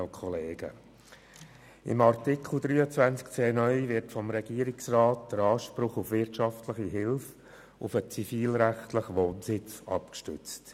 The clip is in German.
Mit Artikel 23c (neu) wird vom Regierungsrat der Anspruch auf wirtschaftliche Hilfe auf den zivilrechtlichen Wohnsitz abgestützt.